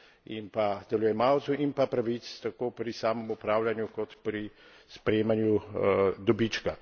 in pa delojemalcev, in pa pravic tako pri samem upravljanju kot pri sprejemanju dobička.